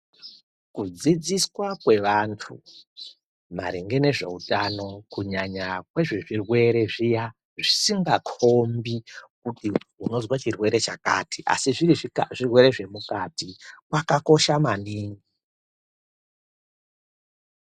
Kudzidziswa kwevantu maringe nezveutano kunyanya kwezvezvirwere zviya zvisingakombi kuti unoze chirwere chakati. Asi zviri zvirwere zvemukati kwakakocha maningi.